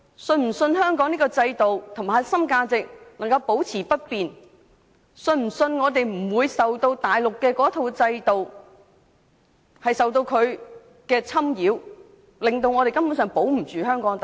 是否相信香港的制度和核心價值可保持不變？是否相信我們不會受內地的制度影響或侵擾，令我們可保住香港的特色？